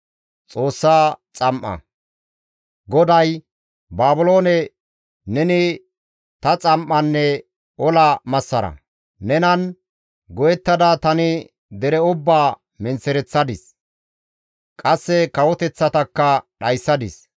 GODAY, «Baabiloone neni ta xam7anne ola massara; nenan go7ettada tani dere ubbaa menththereththadis; qasse kawoteththatakka dhayssadis.